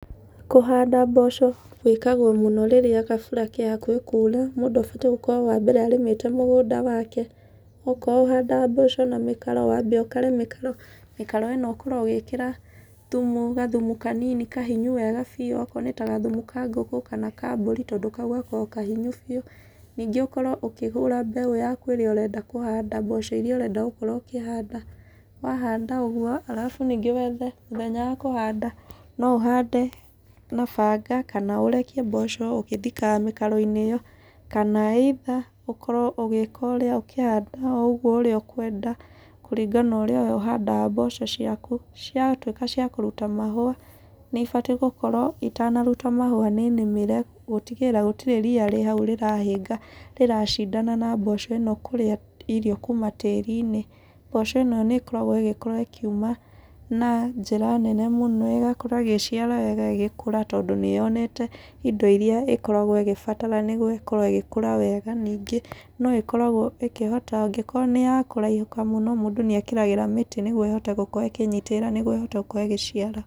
Kũhanda mboco wĩkagwo mũno rĩrĩa gabura ke hakuhĩ kuura. Mũndũ abatiĩ gũkorwo wa mbere arĩmĩte mũgũnda wake, okorwo ũhandaga mboco na mĩkaro wambe ũkare mĩkaro. Mĩkaro ĩno ũkorwo ũgĩkĩra thumu gathumu kanini kahinyu wega biũ. Okorwo nĩ ta gathumu ka ngũkũ, kana ka mbũri, tondũ kau gakorawo kahinyu biũ. Ningĩ ũkorwo ũkĩgũra mbeũ yaku ĩrĩa ũrenda kũhanda mboco irĩa ũrenda gũkorwo ũkĩhanda. Wahanda ũguo arabu ningĩ wethe mũthenya wa kũhanda, no ũhande na banga, kana ũrekie mboco ũgĩthikaga mĩkaro-inĩ ĩyo. Kana either ũkorwo ũgĩka ũrĩa ũkĩhanda o ũguo ũrĩa ũkwenda kũringa na ũrĩa we ũhandaga mboco ciaku. Ciatuĩka cia kũruta mahũa, nĩ ibatiĩ gũkorwo itanaruta mahũa, nĩ nĩmĩre gũtigĩrĩra gũtirĩ ria rĩ hau rĩrahĩnga, rĩracindana na mboco ĩno kũrĩa irio kuuma tĩri-inĩ. Mboco ĩno nĩ ĩkoragwo ĩgĩkorwo ĩkiuma na njĩra nene mũno ĩgakorwo ĩgĩciara wega ĩgĩkũra tondũ nĩ yonete indo irĩa ĩkoragwo ĩgĩbatara nĩguo ĩkorwo ĩgĩkũra wega. Ningĩ no ĩkoragwo ĩkĩhota angĩkorwo nĩ ya kũraihũka mũno mũndũ nĩ ekĩragĩra mĩtĩ nĩguo ĩhote gũkorwo ĩkĩnyitĩrĩra nĩguo ĩhote gũkorwo ĩgĩciara.